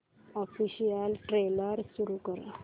official trailer सुरू कर